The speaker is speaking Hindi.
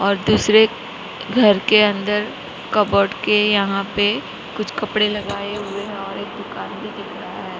और दूसरे घर के अंदर कबर्ड के यहां पे कुछ कपड़े लगाए हुए हैं और एक दुकान भी दिख रहा है।